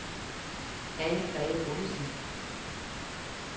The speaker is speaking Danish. Anne-Grete Bondesen